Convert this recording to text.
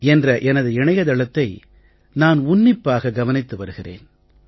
in என்ற எனது இணைய தளத்தை நான் உன்னிப்பாக கவனித்து வருகிறேன்